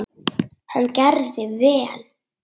Hann gerði vel.